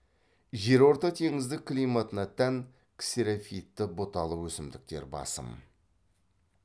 жерортатеңіздік климатына тән ксерофитті бұталы өсімдіктер басым